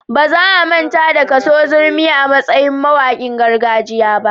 Ba za a manta da Kaso Zurmi a matsayin mawaƙin gargajiya ba.